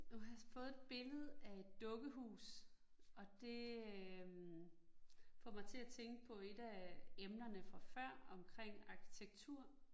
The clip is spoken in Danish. Nu har jeg fået et billede af et dukkehus, og det øh får mig til at tænke på 1 af emnerne fra før omkring arkitektur